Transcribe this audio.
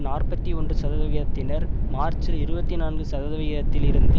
நாற்பத்தி ஒன்று சதவிகிதத்தினர் மார்ச்சில் இருபத்தி நான்கு சதவிதத்திலிருந்து